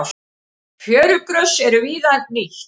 Fjörugrös eru víða nýtt.